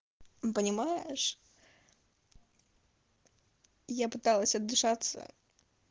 понимаешь я пыталась отдышаться